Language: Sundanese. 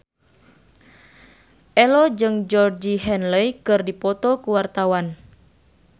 Ello jeung Georgie Henley keur dipoto ku wartawan